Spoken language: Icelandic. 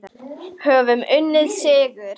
Höfum unnið sigur.